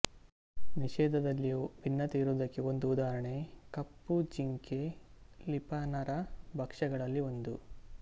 ನಿಷೇಧದಲ್ಲಿಯೂ ಭಿನ್ನತೆ ಇರುವುದಕ್ಕೆ ಒಂದು ಉದಾಹರಣೆ ಕಪ್ಪು ಜಿಂಕೆ ಲಿಪಾನರ ಭಕ್ಷ್ಯಗಳಲ್ಲಿ ಒಂದು